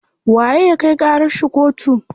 Waye ya kai ƙarar shi kotu?